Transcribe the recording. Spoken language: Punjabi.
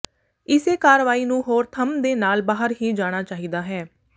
ਇਸੇ ਕਾਰਵਾਈ ਨੂੰ ਹੋਰ ਥੰਮ ਦੇ ਨਾਲ ਬਾਹਰ ਹੀ ਜਾਣਾ ਚਾਹੀਦਾ ਹੈ